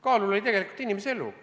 Kaalul oli tegelikult inimese elu.